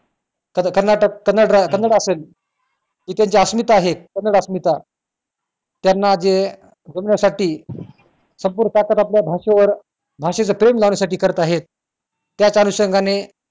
कर्नाटक कन्नड असेल इथे जे अस्मिता आहेत कन्नडा अस्मिता त्यांना जे बोलण्यासाठी संपूर्ण ताकद आपल्या भाषेवर भाषेचं प्रेम लावण्यासाठी करत आहेत त्याच अनुषंगाने